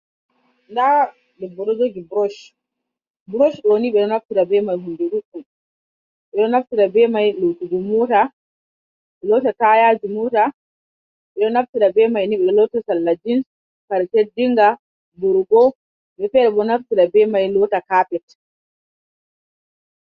Ndaa ɗebbo ɗo jogi brosh, brosh ɗo ni ɓedo naftra ɓe mai hunde ɗuddum um ɓe ɗo naftra ɓe mai lotugo mota, lota tayaji mota, ɓe ɗo naftira ɓe mai ni ɓe lota sarla jins, kare teɗinga, burugo, woɓɓe fere bo naftra bei mai lota carpet.